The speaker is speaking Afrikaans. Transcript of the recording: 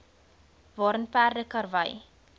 waarin perde karwy